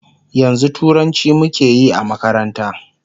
yanzun turanci muke Yi a makaranta